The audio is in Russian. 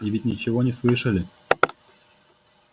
и ведь ничего не слышали